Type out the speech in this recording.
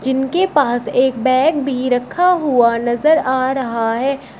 जिनके पास एक बैग भी रखा हुआ नजर आ रहा है।